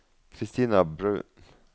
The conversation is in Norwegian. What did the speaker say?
Kristina Bruun